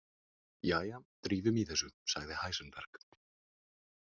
Jæja, drífum í þessu, sagði Heisenberg.